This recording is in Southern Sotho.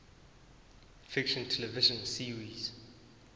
fiction television series